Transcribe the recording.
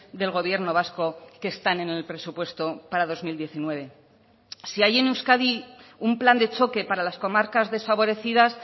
del gobierno vasco que están en el presupuesto para dos mil diecinueve si hay en euskadi un plan de choque para las comarcas desfavorecidas